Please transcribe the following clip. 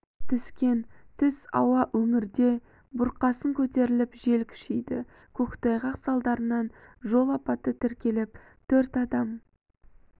түскен түс ауа өңірде бұрқасын көтеріліп жел күшейді көктайғақ салдарынан жол апаты тіркеліп төрт адам